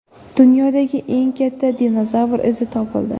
Dunyodagi eng katta dinozavr izi topildi.